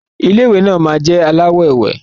Ilé ìwé náà má jẹ alawọ ewe.